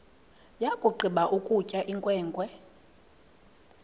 yakugqiba ukutya inkwenkwe